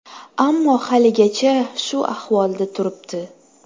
Ammo haligacha shu ahvolda turibdi.